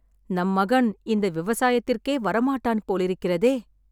நம் மகன் இந்த விவசாயத்திற்கே வரமாட்டான் போலிருக்கிறதே..